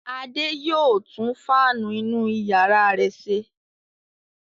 Adé yóò tún fáánù inú ìyàrá rẹ̀ ṣe.